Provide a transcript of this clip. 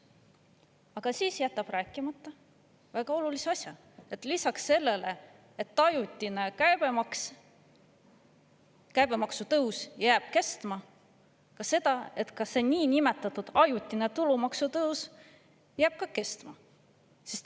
Aga ta jätab rääkimata väga olulise asja: lisaks sellele, et ajutine käibemaksu tõus jääb kestma, ka see niinimetatud ajutine tulumaksu tõus jääb kestma.